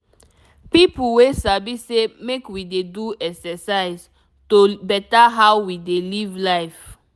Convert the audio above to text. people wey sabi say make we dey do exercise to better how we dey live life.